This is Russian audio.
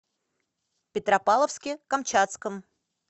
петропавловске камчатском